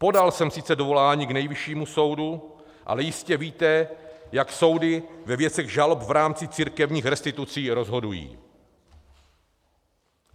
Podal jsem sice dovolání k Nejvyššímu soudu, ale jistě víte, jak soudy ve věcech žalob v rámci církevních restitucí rozhodují.